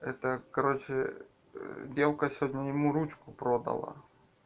это короче девка сегодня ему ручку продала